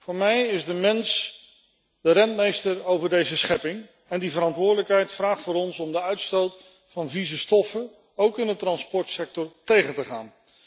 Voor mij is de mens de rentmeester over deze schepping en die verantwoordelijkheid vraagt van ons de uitstoot van vieze stoffen, ook in de transportsector, tegen te gaan.